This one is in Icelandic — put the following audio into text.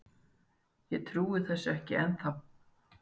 Ég trúi þessu ekki ennþá.